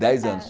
Dez anos.